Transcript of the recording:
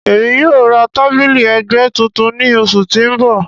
Emi yoo ra tabili ẹgbẹ tuntun ni oṣu ti n bọ.